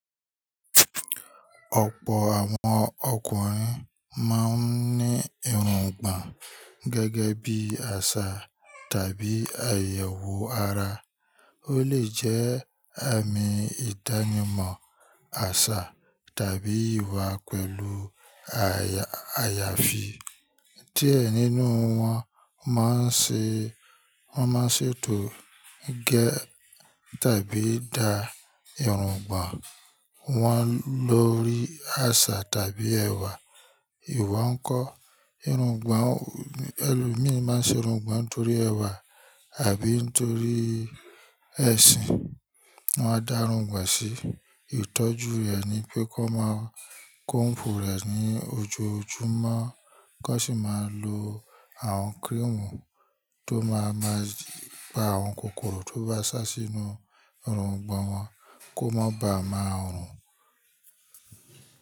Ọ̀pọ̀ àwọn ọkùnrin máa ń ní irungbọ̀n gẹ́gẹ́ bí àṣà tàbí àyẹ̀wò ara. Ó lè jẹ́ àmì ìdánimọ̀ àṣà tàbí ìwà pẹ̀lú àyàfi. Díẹ̀ nínú wọ́n máa ń ṣètò, gé tàbí da irungbọ̀n wọn lórí àṣà tàbí ẹ̀wà. Ìwo ń kọ́. Irungbọ̀n, ẹlòmíi máa n ṣe irungbọ̀n nítorí ẹ̀wà àbí nítorí ẹ̀sìn. Wọ́n á darungbọ̀n sí. Ìtọ́jú rẹ̀ ni pé kó máa kọ́m̀bù rẹ̀ ní ojoojúmọ́, kó sì máa lo àwọn kírímù tó máa máa pa àwọn kòkòrò tó bá sá sínú irungbọ̀n wọn kó má ba à máa rùn.